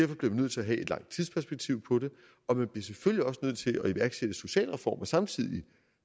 bliver vi nødt til at have et langt tidsperspektiv på det og man bliver selvfølgelig også nødt til at iværksætte sociale reformer samtidig